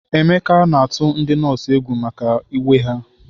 Emeka na-atụ ndị nọọsụ egwu maka uwe ha.